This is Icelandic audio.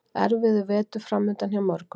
Erfiður vetur framundan hjá mörgum